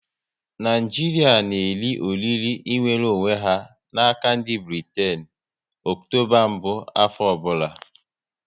Naịjiria n'eri oriri nwere onwe ha n'aka ndị Britain Ọktoba mbụ afọ ọbụla